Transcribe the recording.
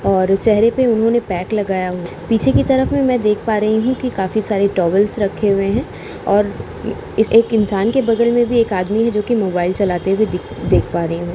और चेहरे पे उन्होंने पैक लगाया पीछे की तरफ में मैं देख पा रही हूँ कि काफी सारे टॉवेल्स रखे हुए हैं और इस एक इंसान के बगल में भी एक आदमी है जोकि मोबाइल चलाते हुए दिख देख पा रही हूँ।